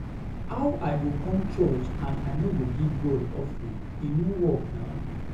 How I go come church and I no go give God offering, e no work na